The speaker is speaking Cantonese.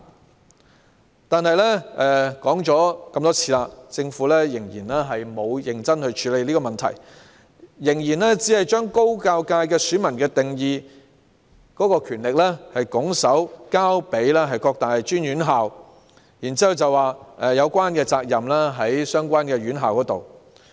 雖然我們多次指出這個問題，但政府仍然沒有認真處理，還是把高教界選民的定義權拱手交給各大專院校，然後指有關責任在於相關院校。